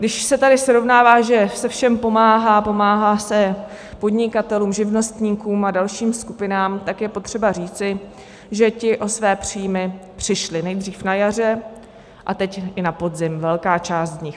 Když se tady srovnává, že se všem pomáhá, pomáhá se podnikatelům, živnostníkům a dalším skupinám, tak je potřeba říci, že ti o své příjmy přišli nejdřív na jaře a teď i na podzim, velká část z nich.